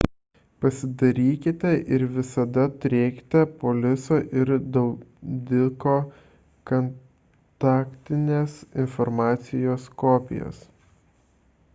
pasidarykite ir visada turėkite poliso ir draudiko kontaktinės informacijos kopijas